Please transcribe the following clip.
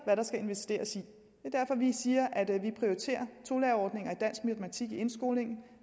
hvad der skal investeres i at vi siger at vi prioriterer tolærerordninger i dansk og matematik i indskolingen